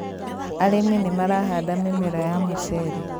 .Arĩmi nĩ marahanda mĩmera ya mũcere.